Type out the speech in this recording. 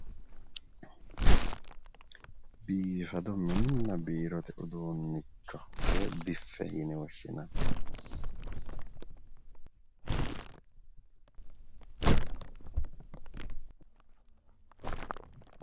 Biifado mininna biirote uduunnicho woyi biffe yine woshshinanni